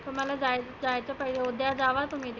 तुम्हाला जाय उद्या होत्या जावा तुम्ही.